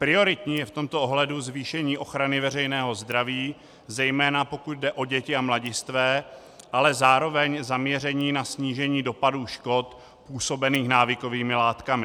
Prioritní je v tomto ohledu zvýšení ochrany veřejného zdraví, zejména pokud jde o děti a mladistvé, ale zároveň zaměření na snížení dopadů škod působených návykovými látkami.